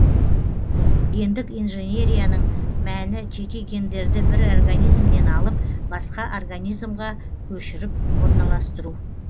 гендік инженерияның мәні жеке гендерді бір организмнен алып басқа организмге көшіріп орналастыру